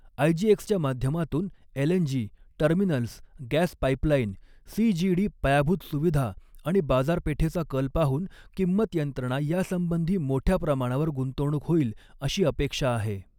आयजीएक्सच्या माध्यमातून LNG, terminals, gas pipeline, CGD पायाभूत सुविधा आणि बाजारपेठेचा कल पाहून किंमत यंत्रणा यासंबंधी मोठ्या प्रमाणावर गुंतवणूक होईल, अशी अपेक्षा आहे.